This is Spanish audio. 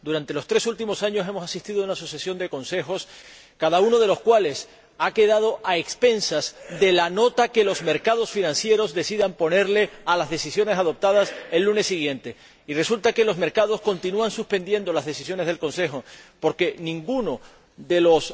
Durante los tres últimos años hemos asistido a una sucesión de consejos, cada uno de los cuales ha quedado a expensas de la nota que los mercados financieros decidan ponerles a las decisiones adoptadas el lunes siguiente, y resulta que los mercados continúan suspendiendo las decisiones del Consejo Europeo porque ninguno de los